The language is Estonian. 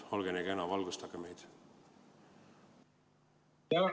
Olge nii kena, valgustage meid!